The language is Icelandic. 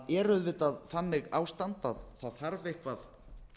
það er auðvitað þannig ástand að það þarf eitthvað